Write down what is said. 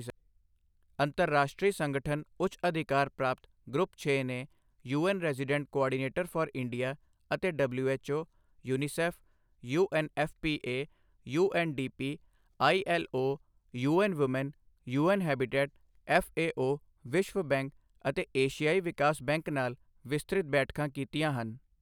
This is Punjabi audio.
ਅੰਤਰਰਾਸ਼ਟਰੀ ਸੰਗਠਨ ਉੱਚ ਅਧਿਕਾਰ ਪ੍ਰਾਪਤ ਗਰੁੱਪ6 ਨੇ UN resident coordinator for India ਅਤੇ WHO, UNICEF, UNFPA, UNDP, ILO, UN Women, UN Habitat, FAO, ਵਿਸ਼ਵ ਬੈਂਕ ਅਤੇ ਏਸ਼ਿਆਈ ਵਿਕਾਸ ਬੈਂਕ ਨਾਲ ਵਿਸਤ੍ਰਿਤ ਬੈਠਕਾਂ ਕੀਤੀਆਂ ਹਨ।